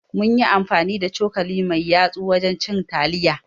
Muna amfani da cokali mai yatsu wajan cin taliya